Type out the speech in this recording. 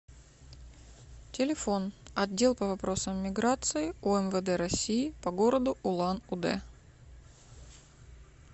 телефон отдел по вопросам миграции умвд россии по г улан удэ